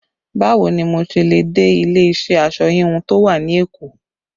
Báwo ni mo ṣe le dé ilé iṣẹ́ aṣọ híhun tó wà ní Èkó?